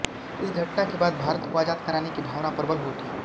इस घटना के बाद भारत को आजाद कराने की भावना प्रबल हो उठी